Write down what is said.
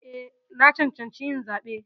Eh, na cancanci yin zaɓe.